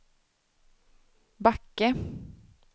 Backe